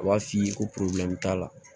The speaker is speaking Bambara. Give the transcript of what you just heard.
U b'a f'i ye ko t'a la